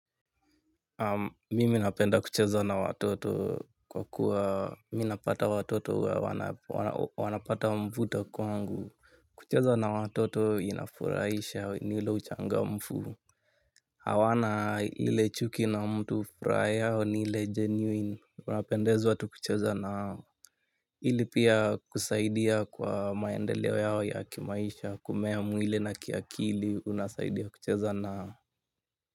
Mimi napenda kucheza na watoto kwa kuwa minapata watoto wanapata mvuto kwangu. Kucheza na watoto inafuraisha ni ule uchangamfu. Hawana ile chuki na mtu furaha yao ni ile genuine. Unapendezwa tu kucheza na wao. Hili pia kusaidia kwa maendeleo yao ya kimaisha kumea mwili na kiakili unasaidia kucheza na hao.